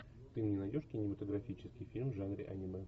ты мне найдешь кинематографический фильм в жанре аниме